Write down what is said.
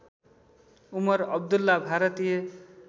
Umar Abdullah Bharatiya